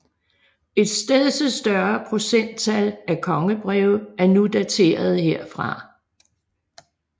Et stedse større procenttal af kongebreve er nu daterede herfra